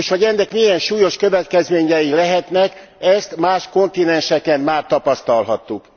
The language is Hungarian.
És hogy ennek milyen súlyos következményei lehetnek, ezt más kontinenseken már tapasztalhattuk.